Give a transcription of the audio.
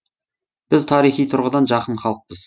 біз тарихи тұрғыдан жақын халықпыз